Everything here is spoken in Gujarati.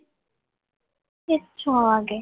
છ વાગે